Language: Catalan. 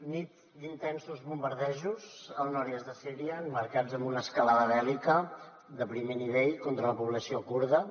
nit d’intensos bombardejos al nord est de síria emmarcats en una escalada bèl·lica de primer nivell contra la població kurda